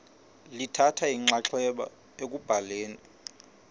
lithatha inxaxheba ekubhaleni